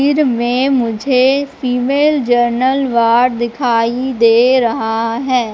फिर मैं मुझे फीमेल जनरल वार्ड दिखाई दे रहा हैं।